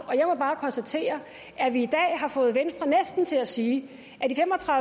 og jeg må bare konstatere at vi i dag næsten har fået venstre til at sige